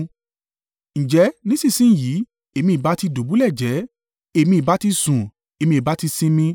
Ǹjẹ́ nísinsin yìí èmi ìbá ti dùbúlẹ̀ jẹ́ẹ́; èmi ìbá ti sùn, èmi ìbá ti sinmi